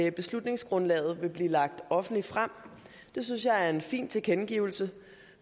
at beslutningsgrundlaget vil blive lagt offentligt frem det synes jeg er en fin tilkendegivelse